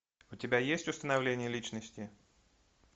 у тебя есть установление личности